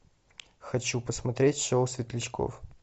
хочу посмотреть шоу светлячков